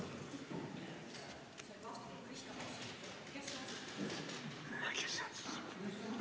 Istungi lõpp kell 13.00.